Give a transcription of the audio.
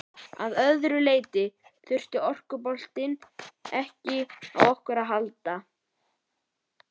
Að öðru leyti þurfti orkuboltinn ekki á okkur að halda.